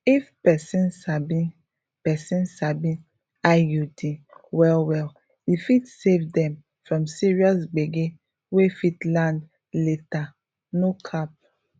if person sabi person sabi iud wellwell e fit save dem from serious gbege wey fit land later no cap